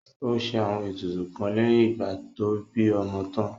Ó ṣe àwọn ètùtù kan lẹ́yìn ìgbà tó bí ọmọ tán